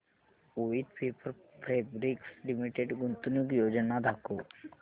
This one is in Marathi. वोइथ पेपर फैब्रिक्स लिमिटेड गुंतवणूक योजना दाखव